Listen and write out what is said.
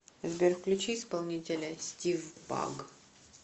сбер включи исполнителя стив баг